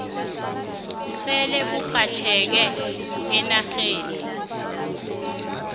sele burhatjheke eenarheni